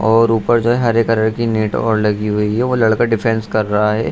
और ऊपर जो है हरे कलर की नेट और लगी हुई है वो लड़का डिफेंस कर रहा है।